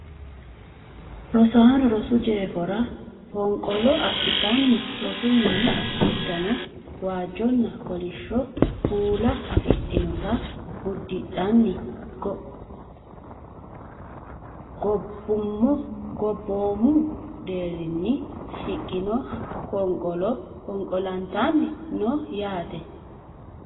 Rosaaano rosu jeefora fonqolo adhitanni rosu mini uddano waajjonna kolishsho kuula afidhinota uddidhanni gobboomu deerrinni shiqino fonqolo fonqolantanni no yate